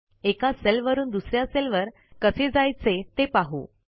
एका सेल वरून दुस या सेलवर कसे जायचे ते पाहू